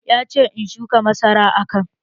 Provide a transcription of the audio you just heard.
Ya ce 'Shuka masara a can'!